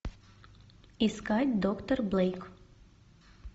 искать доктор блейк